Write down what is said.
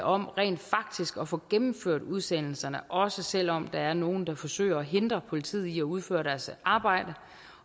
om rent faktisk at få gennemført udsendelserne også selv om der er nogle der forsøger at hindre politiet i at udføre deres arbejde